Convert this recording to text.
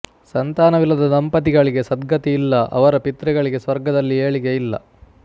ಸಂತಾನವಿಲ್ಲದ ದಂಪತಿಗಳಿಗೆ ಸದ್ಗತಿ ಇಲ್ಲ ಅವರ ಪಿತೃಗಳಿಗೆ ಸ್ವರ್ಗದಲ್ಲಿ ಏಳಿಗೆ ಇಲ್ಲ